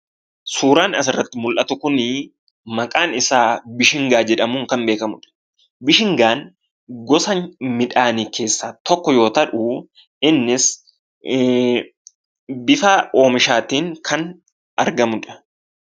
Suuraan asirratti mul'atu kunii maqaan isaa Bishingaa jedhamuun kan beekamudha . Bishingaan gosa midhaanii keessaa tokko yoo ta'uu innis bifaa oomishaatiin kan argamudha.